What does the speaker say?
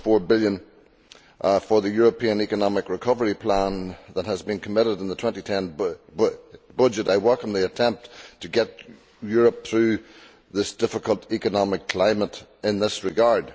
2.4 billion for the European Economic Recovery Plan that has been committed in the 2010 budget, and I welcome the attempt to get Europe through this difficult economic climate in this regard.